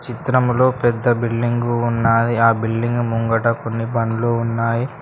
చిత్రం లో పెద్ద బిల్డింగు ఉన్నాది ఆ బిల్డింగ్ ముంగట కొన్ని బండ్లు ఉన్నాయి.